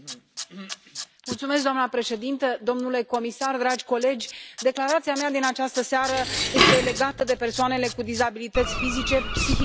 Doamnă președintă, domnule comisar, dragi colegi, declarația mea din această seară este legată de persoanele cu dizabilități fizice, psihice și intelectuale.